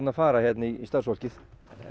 fara í starfsfólkið